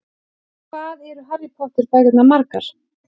Hvað eru Harry Potter bækurnar margar?